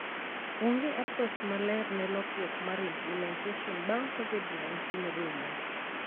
Onge approach maler ne lokruok mar implementation bang' Covid-19 rumo.